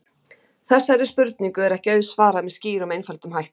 Þessari spurningu er ekki auðsvarað með skýrum og einföldum hætti.